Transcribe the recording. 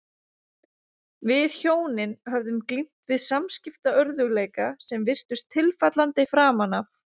Við hjónin höfðum glímt við samskiptaörðugleika sem virtust tilfallandi framan af.